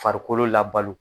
Farikolo labalo